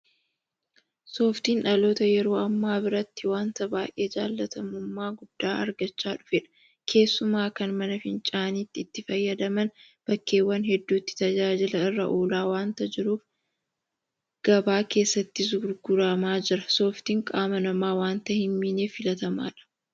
Sooftiin dhaloota yeroo ammaa biratti waanta baay'ee jaalatamummaa guddaa argachaa dhufedha. Keessumaa kan mana fincaaniitti itti fayyadaman bakkeewwan hedduutti tajaajila irra oolaa waanta jiruuf gabaa keessattis gurguramaa jira. Sooftiin qaama namaa waanta hinmiineef filatamaadha.